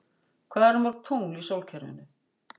Hvað eru mörg tungl í sólkerfinu?